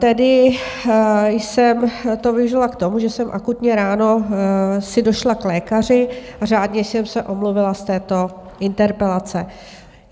Tedy jsem toho využila k tomu, že jsem akutně ráno si došla k lékaři a řádně jsem se omluvila z této interpelace.